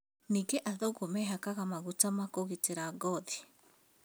Nĩngĩ athũngũ meehakaga magũta ma kũgitĩra ngothi